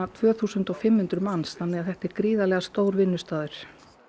tvö þúsund og fimm hundruð manns þannig þetta er gríðarlega stór vinnustaður